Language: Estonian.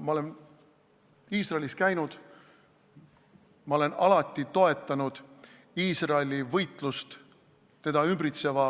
Ma olen Iisraelis käinud, ma olen alati toetanud Iisraeli võitlust teda ümbritseva